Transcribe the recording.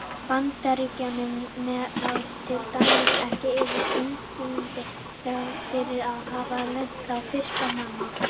Bandaríkjamenn ráða til dæmis ekki yfir tunglinu þrátt fyrir að hafa lent þar fyrstir manna.